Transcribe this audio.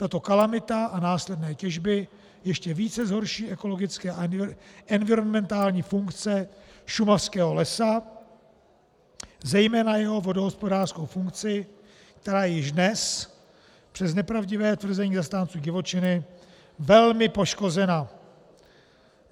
Tato kalamita a následné těžby ještě více zhorší ekologické a environmentální funkce šumavského lesa, zejména jeho vodohospodářskou funkci, která je již dnes, přes nepravdivé tvrzení zastánců divočiny, velmi poškozena.